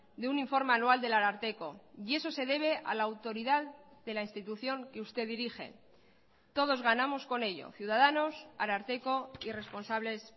de un informe anual del ararteko y eso se debe a la autoridad de la institución que usted dirige todos ganamos con ello ciudadanos ararteko y responsables